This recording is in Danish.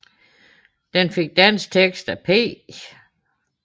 Den fik dansk tekst af P